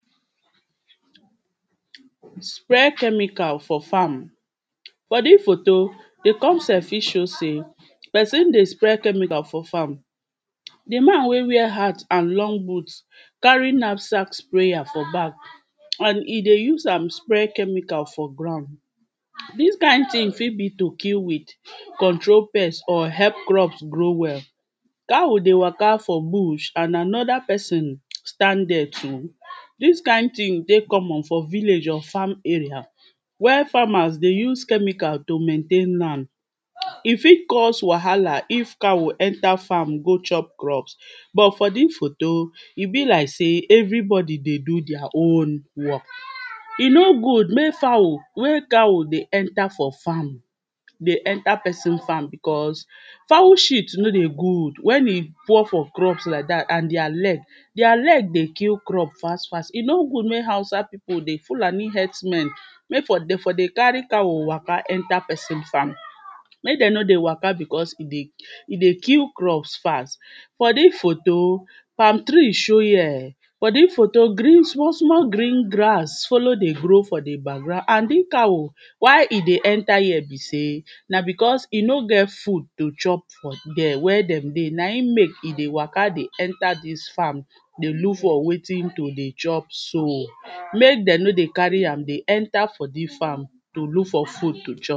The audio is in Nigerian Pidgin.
spray chemical for farm for dis photo di concept fi show sey person dey spray chemical for farm di man wey wear hat and long boot carry nap sack sprayer for back and he dey use am spray chemical for ground dis kind ting fi be to kill weed control pest, or help crop grow well cow dey waka for bush, and anoda persin stand dere too dis kind ting dey common for village or farm area where farmers dey use chemicals to maintain land he fi cause wahala if cow enter farm go chop crops but for dis photo e bi like sey everybody dey do deir own work he no good mey fowl wey cow dey enter for farm dey enter pesin farm because fowl shit no dey good wen he pour for crops like dat, and deir leg deir leg dey kill crop fast fast. he no good mey hausa pipo dey, fulani herdsmen mey for dey for dey, carry cow waka enter person farm mek dem no dey waka bcos he dey he dey kill crops fast for dis photo palm tree show here for dis photo, green small small green grass, follow dey grow for di background and di cow why he dey enter here be sey na bcos he no get food to chop for dere, where dem dey na in mek he dey waka dey enter dis farm dey look for wetin to dey chop so mek dem no dey carry am dey enter for di farm to look for food to chop